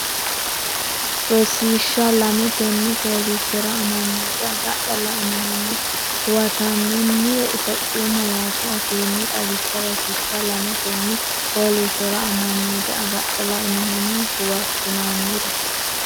Rosiishsha Lame Tenne fooliishshora amanyoote agadha lainohunni huwattinoonnire Itophiyu malaatu afiinni xawisse Rosiishsha Lame Tenne fooliishshora amanyoote agadha lainohunni huwattinoonnire.